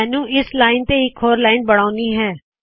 ਮੈਨੂ ਇਸ ਲਾਇਨ ਤੋ ਇਕ ਹੋਰ ਲਾਇਨ ਬਨਾਉਣੀ ਹੈ